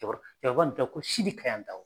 Cɛkɔrɔ cɛkɔrɔba in tɔgɔ ko Sidi Kayantaho